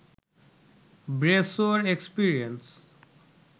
ব্রেসোর experience